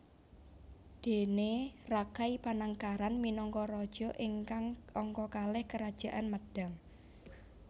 Déne Rakai Panangkaran minangka raja ingkang angka kalih Kerajaan Medang